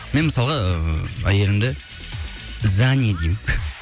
мен мысалға ыыы әйелімді зани деймін